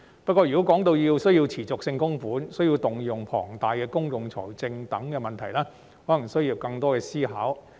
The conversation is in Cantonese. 不過，如果需要作持續性供款，則會牽涉到需要動用龐大的公共財政資源等問題，這可能需要作更多思考。